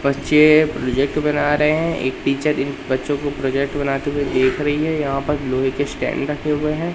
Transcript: बच्चे प्रोजेक्ट बना रहे हैं एक टीचर इन बच्चों को प्रोजेक्ट बनाते हुए देख रही है यहां पर लोहे के स्टैंड रखे हुए हैं।